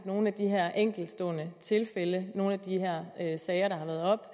nogle af de her enkeltstående tilfælde nogle af de her sager der har været oppe